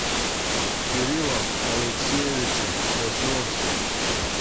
кириллом алексеевичем сосновских